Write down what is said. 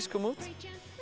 kom út